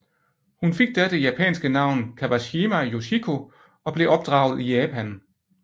Hun fik da det japanske navn Kawashima Yoshiko og blev opdraget i Japan